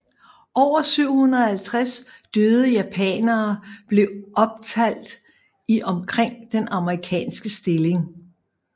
Over 750 døde japanere blev optalt i og omkring den amerikanske stilling